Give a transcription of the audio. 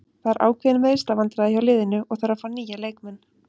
Það eru ákveðin meiðslavandræði hjá liðinu og þarf að fá nýja leikmenn.